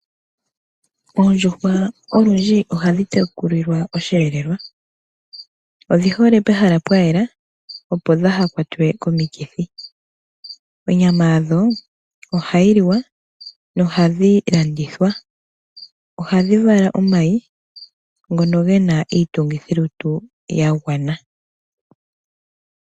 Oondjuhwa olundji ohadhi tekulilwa oshelelwa odhi hole pehala pwayela opo ihadhi kwatwa komikithi. Onyama yadho ohayi liwa na ohadhi landithwa, ohadhi vala omayi ngono gena iitungithilutu yagwana.